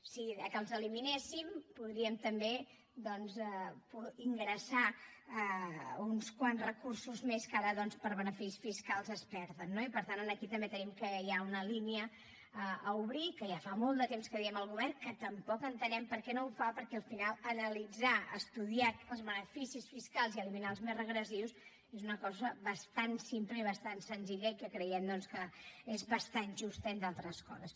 si els eliminéssim podríem també ingressar uns quants recursos més que ara doncs per beneficis fiscals es perden no i per tant aquí també tenim que hi ha una línia a obrir que ja fa molt de temps que ho diem al govern que tampoc entenem per què no ho fa perquè al final analitzar estudiar els beneficis fiscals i eliminar els més regressius és una cosa bastant simple i bastant senzilla i que creiem doncs que és bastant justa entre altres coses